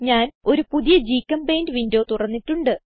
ഞാൻ ഒരു പുതിയ ഗ്ചെമ്പെയിന്റ് വിൻഡോ തുറന്നിട്ടുണ്ട്